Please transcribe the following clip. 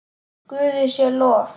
Guði sé lof.